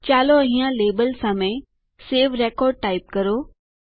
ચાલો અહીંયા લાબેલ વિરુદ્ધ સવે રેકોર્ડ ટાઈપ કરો